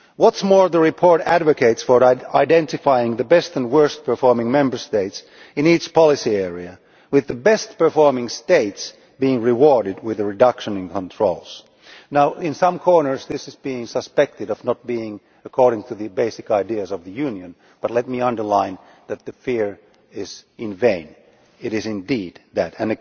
Furthermore, the report advocates identifying the best and worst performing Member States in its policy area, with the best performing States being rewarded with a reduction in controls. Now in some quarters this is being suspected of not being in accordance with the basic ideas of the Union, but let me underline that this fear is in vain it is indeed in accordance with those ideas.